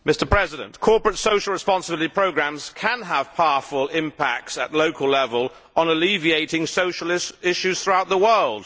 Mr President, corporate social responsibility programmes can have powerful impacts at local level on alleviating social issues throughout the world.